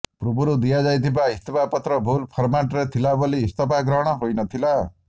ପୂର୍ବରୁ ଦିଆଯାଇଥିବା ଇସ୍ତଫାପତ୍ର ଭୁଲ ଫର୍ମାଟ୍ରେ ଥିଲା ବୋଲି ଇସ୍ତଫା ଗ୍ରହଣ ହୋଇନଥିଲା